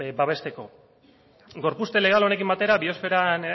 babesteko gorpuzte legal honekin batera biosfera